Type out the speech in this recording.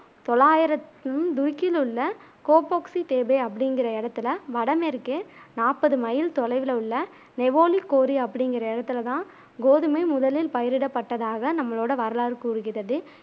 தொள்ளாயிரத்து துருக்கியில் உள்ள கோப்பொக்சி தேபேஅப்பிடிங்குற இடத்துல வடமேற்கே நாப்பது மைல் தொலைவுல உள்ள நெவோலி கோரி அப்பிடிங்குற இடத்துல தான் கோதுமை முதலில் பயிரிடப் பட்டதாக நம்மளோட வரலாறு கூறுகிறது